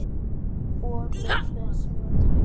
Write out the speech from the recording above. Og loftið svo tært.